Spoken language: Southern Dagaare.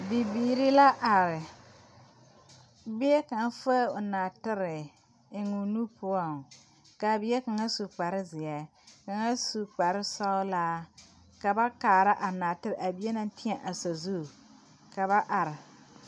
Bibiiri la are bie kaŋ fue o nɔɔtere e o nu poɔŋ kaa bie kaŋa su kpare zeɛ kaa kaŋa sue kpare sɔglaa ka ba kaara a naatere a bie naŋ teɛ a sazu ka ba are.